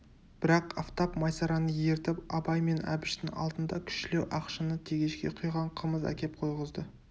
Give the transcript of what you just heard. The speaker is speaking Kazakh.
бірақ афтап майсараны ертіп абай мен әбіштің алдында кішілеу ақ шыны тегешке құйған қымыз әкеп қойғызды